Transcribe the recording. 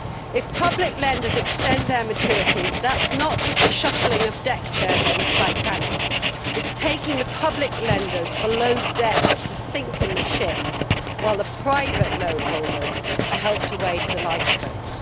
If public lenders extend their maturities, that is not just a shuffling of deckchairs on the Titanic it is taking the public lenders below decks to sink in the ship while the private loan holders are helped away to the lifeboats.